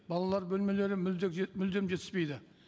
балалар бөлмелері мүлдем жетіспейді